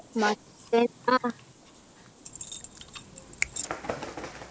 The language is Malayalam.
മത്തൻ ആഹ്